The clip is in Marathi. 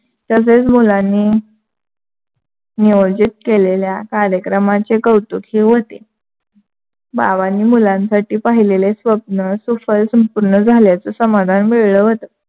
तसेच मुलांनी नियोजित केलेल्या कार्यक्रमाचे कौतुकही व्‍हते. बाबांनी मुलांसाठी पाहिलेले स्वप्न सुफल संपूर्ण झाल्याच समाधान मिळलं होतं.